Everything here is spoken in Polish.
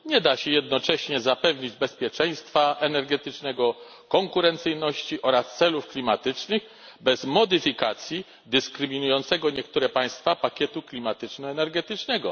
Nie da się jednocześnie zapewnić bezpieczeństwa energetycznego, konkurencyjności oraz osiągnięcia celów klimatycznych bez modyfikacji dyskryminującego niektóre państwa pakietu klimatyczno energetycznego.